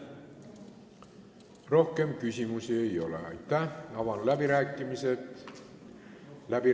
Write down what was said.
Rohkem küsimusi ei ole, avan läbirääkimised.